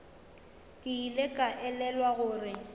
ke ile ka elelwa gore